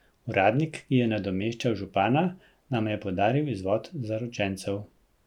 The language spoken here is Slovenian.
Uradnik, ki je nadomeščal župana, nama je podaril izvod Zaročencev.